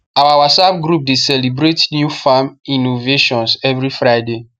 our whatsapp group dey celebrate new farm iinnovations every friday